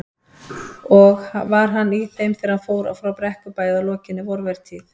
Og var hann í þeim þegar hann fór frá Brekkubæ að lokinni vorvertíð.